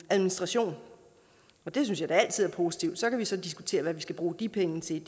administration det synes jeg da altid er positivt så kan vi så diskutere hvad vi skal bruge de penge til